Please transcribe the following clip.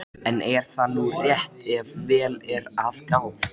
Gefendur heilir, gestur er inn kominn, hvar skal sitja sjá?